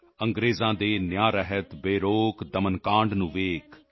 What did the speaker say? ਅੰਗ੍ਰੇਜ਼ਾਂ ਦੇ ਨਿਆਇ ਰਹਿਤ ਬੇਰੋਕ ਦਮਨ ਕਾਂਡ ਨੂੰ ਦੇਖ